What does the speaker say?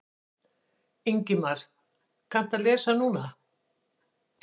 Ingimar: Kanntu að lesa núna?